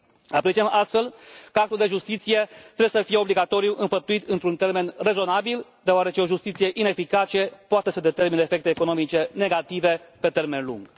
Apreciem, astfel, că actul de justiție trebuie să fie obligatoriu înfăptuit într un termen rezonabil, deoarece o justiție ineficace poate să determine efecte economice negative pe termen lung.